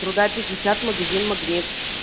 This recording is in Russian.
труда пятьдесят магазин магнит